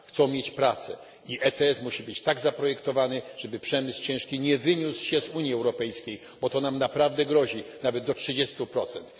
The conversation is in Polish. Chcą mieć pracę i ETS musi być tak zaprojektowany, żeby przemysł ciężki nie wyniósł się z Unii Europejskiej, bo to nam naprawdę grozi, nawet do trzydziestu procent.